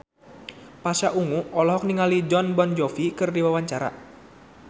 Pasha Ungu olohok ningali Jon Bon Jovi keur diwawancara